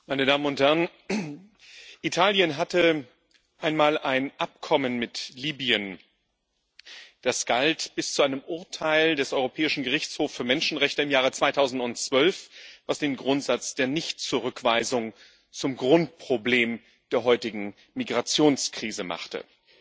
Frau Präsidentin, meine Damen und Herren! Italien hatte einmal ein Abkommen mit Libyen. Das galt bis zu einem Urteil des Europäischen Gerichtshofs für Menschenrechte im Jahr 2012, was den Grundsatz der Nichtzurückweisung zum Grundproblem der heutigen Migrationskrise machte.